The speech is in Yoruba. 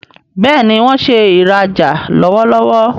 Béèni wón ṣe ìrajà lọwọlọwọ.